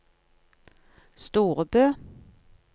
Storebø